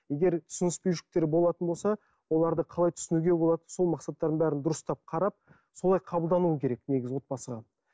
егер түсініспеушіліктер болатын болса оларды қалай түсінуге болады сол мақсаттардың бәрін дұрыстап қарап солай қабылдануы керек негізі отбасыға